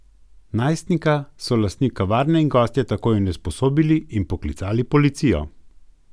Najstnika so lastnik kavarne in gostje takoj onesposobili in poklicali policijo.